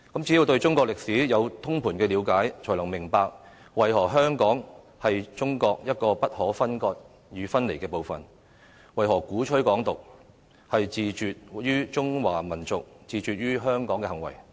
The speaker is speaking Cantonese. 只有對中國的歷史有通盤了解，才能明白為何香港是中國一個不可分割與分離的部分，為何鼓吹港獨是自絕於中華民族，自絕於香港的行為。